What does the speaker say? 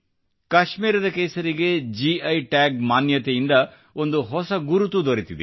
ಕಾಶ್ಮೀರದ ಕೇಸರಿಗೆ GI tag ಮಾನ್ಯತೆಯಿಂದ ಒಂದು ಹೊಸ ಗುರುತು ದೊರೆತಿದೆ